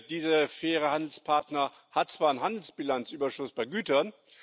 Dieser faire Handelspartner hat zwar einen Handelsbilanzüberschuss bei Gütern.